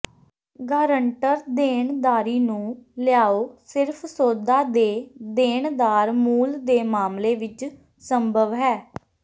guarantor ਦੇਣਦਾਰੀ ਨੂੰ ਲਿਆਓ ਸਿਰਫ ਸੌਦਾ ਦੇ ਦੇਣਦਾਰ ਮੂਲ ਦੇ ਮਾਮਲੇ ਵਿੱਚ ਸੰਭਵ ਹੈ